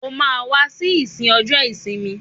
O máa wá sí ìsìn ọjọ́ ìsinmi.